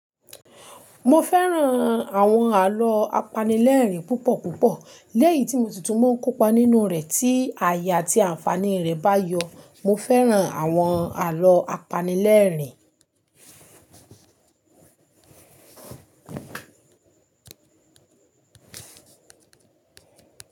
Mo fẹ́ràn àwọn àlọ́ apanilẹ́rìn púpọ̀ púpọ̀. Lẹ́yìí tí mo sì tún mọ́ ń kópa nínú u rẹ̀ tí àyè àti àǹfààní rẹ̀ bá yọ. Mo fẹ́ràn àwọn àlọ́ apanilẹ́rìn.